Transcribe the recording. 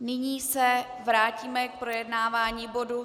Nyní se vrátíme k projednávání bodu